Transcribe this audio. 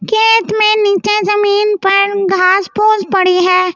खेत में नीचे ज़मीन पर घास फूस पड़ी है ।